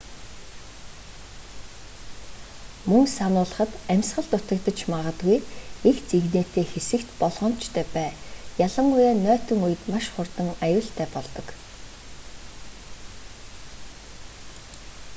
мөн сануулахад амьсгал дутагдаж магадгүй эгц эгнээтэй хэсэгт болгоомжтой бай ялангуяа нойтон үед маш хурдан аюултай болдог